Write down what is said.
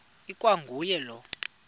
ikwa nguye lowo